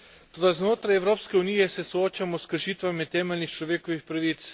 Toda znotraj Evropske unije se soočamo s kršitvami temeljnih človekovih pravic.